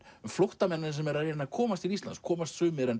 flóttamennina sem eru að reyna að komast til Íslands komast sumir en